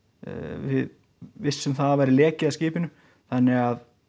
við vissum það væri leki að skipinu þannig að